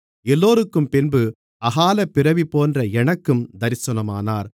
எல்லோருக்கும்பின்பு அகாலப்பிறவிபோன்ற எனக்கும் தரிசனமானார்